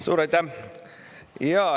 Suur aitäh!